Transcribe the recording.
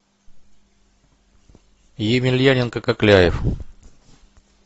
емельяненко кокляев